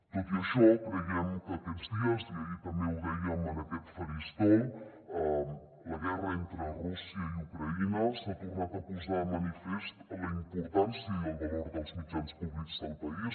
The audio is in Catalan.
tot i això creiem que aquests dies i ahir també ho dèiem en aquest faristol amb la guerra entre rússia i ucraïna s’ha tornat a posar de manifestat la importàn·cia i el valor dels mitjans públics del país